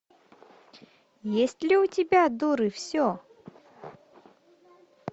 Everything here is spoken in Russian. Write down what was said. есть ли у тебя дуры все